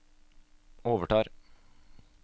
overtar